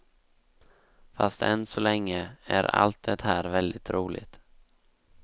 Fast än så länge är allt det här väldigt roligt.